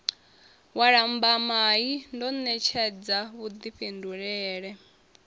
wa lambamai ndo ṋetshedza vhuḓifhindulele